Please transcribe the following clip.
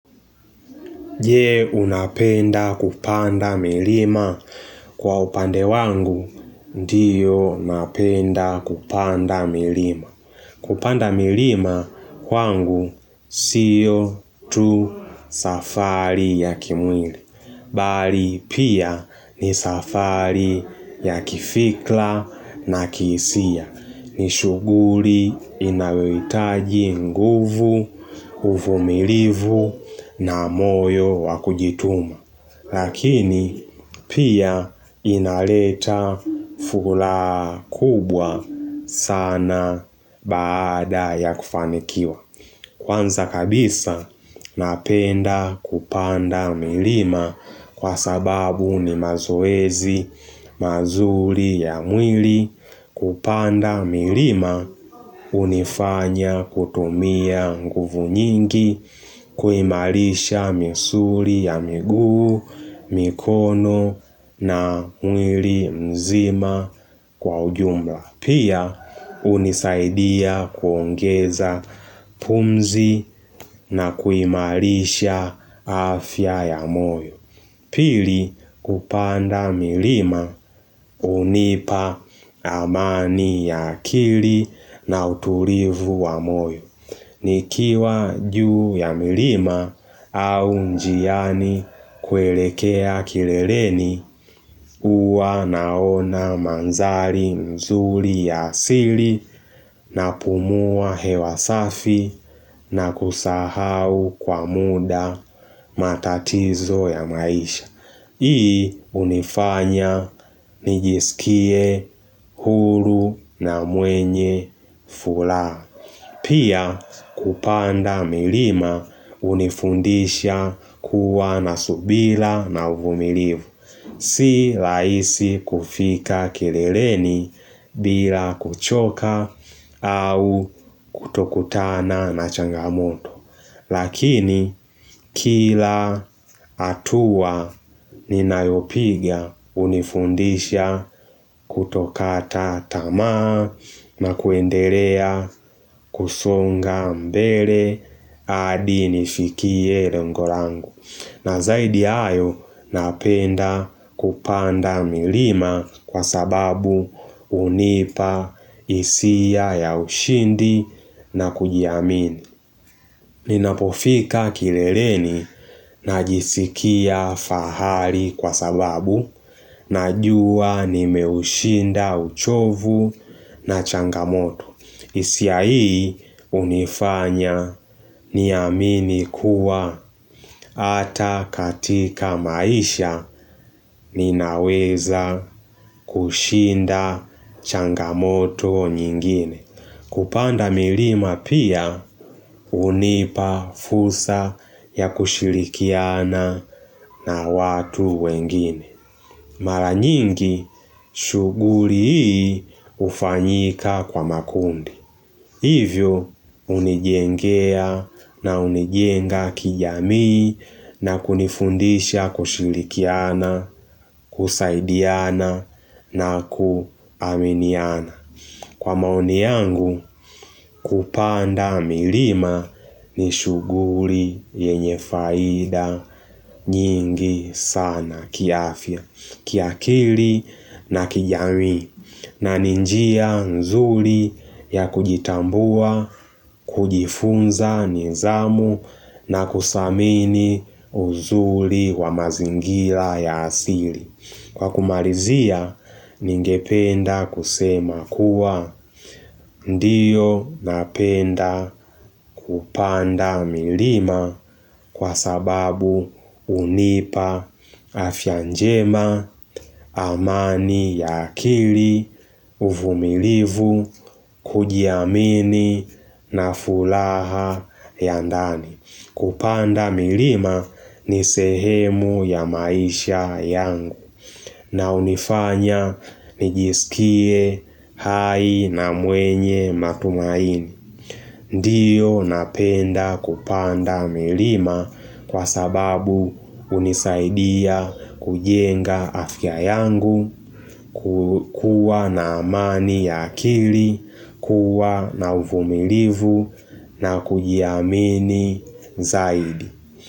Je unapenda kupanda milima kwa upande wangu diyo napenda kupanda milima. Kupanda milima kwangu siyo tu safari ya kimwili bali pia ni safari ya kifikla na kihisia. Ni shuguri inayoitaji nguvu, ufumilivu na moyo wa kujituma. Lakini pia inaleta fulaha kubwa sana baada ya kufanikiwa. Kwanza kabisa napenda kupanda milima kwa sababu ni mazoezi mazuri ya mwili Kupanda milima unifanya kutumia nguvu nyingi kuimalisha misuri ya miguu, mikono na mwili mzima kwa ujumla. Pia, unisaidia kuongeza pumzi na kuimarisha afya ya moyo. Pili, kupanda milima unipa amani ya akili na uturivu wa moyo. Nikiwa juu ya milima au njiani kuelekea kileleni huwa naona manzali mzuli ya asili, napumua hewa safi na kusahau kwa muda matatizo ya maisha Hii unifanya nijisikie huru na mwenye fulaha Pia kupanda milima unifundisha kuwa na subila na uvumilivu. Si laisi kufika kireleni bila kuchoka au kutokutana na changamoto. Lakini kila hatua ninayopiga unifundisha kutokata tamaa na kuendelea kusonga mbele adi nifikie rengo langu na zaidi ya hayo, napenda kupanda milima kwa sababu unipa hisia ya ushindi na kujiamini. Ninapofika kileleni najisikia fahali kwa sababu najuwa nimeushinda uchovu na changamoto hisia hii unifanya niamini kuwa ata katika maisha ninaweza kushinda changamoto nyingine. Kupanda milima pia unipa fursa ya kushirikiana na watu wengine. Mara nyingi shuguri hii ufanyika kwa makundi. Hivyo unijengea na unijenga kijamii na kunifundisha kushilikiana, kusaidiana na kuaminiana. Kwa maoni yangu kupanda milima ni shuguri yenye faida nyingi sana kiafya, kiakili na kijamii. Na ni njia nzuli ya kujitambua, kujifunza nizamu na kusamini uzuli wa mazingila ya asili. Kwa kumalizia, ningependa kusema kuwa ndiyo napenda kupanda milima kwa sababu unipa afya njema, amani ya akili, uvumilivu, kujiamini na fulaha ya ndani. Kupanda milima ni sehemu ya maisha yangu na unifanya nijisikie hai na mwenye matumaini. Ndiyo napenda kupanda milima kwa sababu unisaidia kujenga afya yangu, kukua na amani ya akili, kuwa na uvumilivu na kujiamini zaidi.